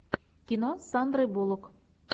кино с сандрой буллок